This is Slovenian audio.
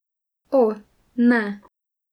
O, ne.